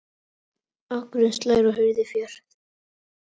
Akurinn slær og hirðir féð.